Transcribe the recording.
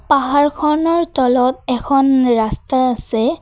পাহাৰখনৰ তলত এখন ৰাস্তা আছে।